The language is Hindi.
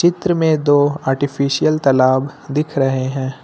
चित्र में दो आर्टिफिशियल तलाब दिख रहे हैं।